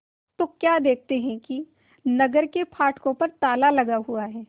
तो क्या देखते हैं कि नगर के फाटकों पर ताला लगा हुआ है